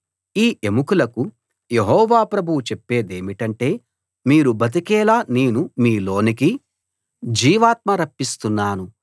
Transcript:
ఈ ఎముకలకు యెహోవా ప్రభువు చెప్పేదేమిటంటే మీరు బతికేలా నేను మీలోనికి జీవాత్మ రప్పిస్తున్నాను